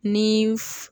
Ni